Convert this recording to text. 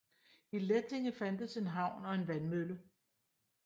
I Lättinge fandtes en havn og en vandmølle